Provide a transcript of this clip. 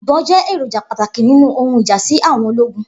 Ibon jẹ eroja pataki ninu ohun ija si àwọn ologun